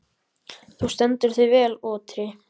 Þú stendur þig vel, Otri!